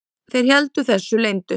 Þeir héldu þessu leyndu.